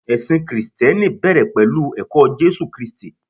ẹsìn Kristẹni bẹrẹ pẹlu ẹkọ Jésù kristi